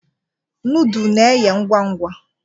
Nọọdụ na-eye ngwa ngwa.